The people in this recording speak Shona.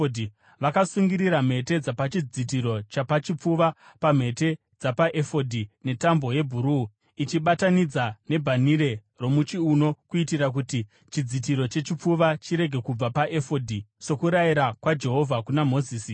Vakasungirira mhete dzapachidzitiro chapachipfuva pamhete dzapaefodhi netambo yebhuruu, ichiibatanidza nebhanhire romuchiuno kuitira kuti chidzitiro chechipfuva chirege kubva paefodhi, sokurayira kwaJehovha kuna Mozisi.